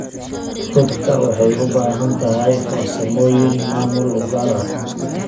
Rugta waxay u baahan tahay farsamooyin maamul oo gaar ah.